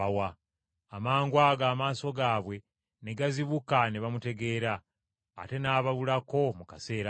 Amangwago amaaso gaabwe ne gazibuka ne bamutegeera! Ate n’ababulako mu kaseera ako!